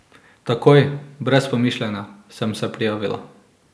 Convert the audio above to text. Takoj, brez pomišljanja, sem se prijavila.